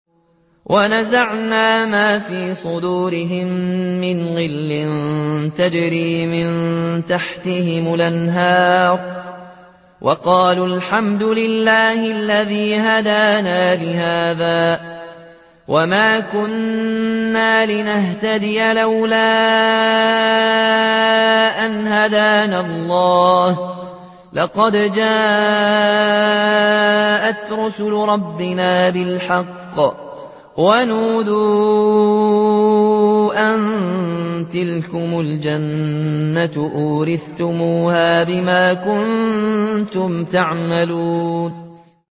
وَنَزَعْنَا مَا فِي صُدُورِهِم مِّنْ غِلٍّ تَجْرِي مِن تَحْتِهِمُ الْأَنْهَارُ ۖ وَقَالُوا الْحَمْدُ لِلَّهِ الَّذِي هَدَانَا لِهَٰذَا وَمَا كُنَّا لِنَهْتَدِيَ لَوْلَا أَنْ هَدَانَا اللَّهُ ۖ لَقَدْ جَاءَتْ رُسُلُ رَبِّنَا بِالْحَقِّ ۖ وَنُودُوا أَن تِلْكُمُ الْجَنَّةُ أُورِثْتُمُوهَا بِمَا كُنتُمْ تَعْمَلُونَ